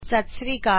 ਸਤ ਸ਼੍ਰੀ ਅਕਾਲ